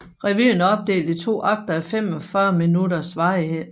Revyen er opdelt i to akter af 45 minutters varighed